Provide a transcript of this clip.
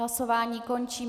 Hlasování končím.